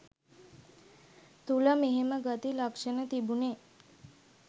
තුල මෙහෙම ගති ලක්ෂණ තිබුනෙ